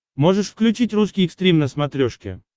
можешь включить русский экстрим на смотрешке